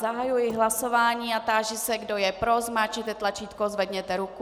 Zahajuji hlasování a táži se, kdo je pro, zmáčkněte tlačítko, zvedněte ruku.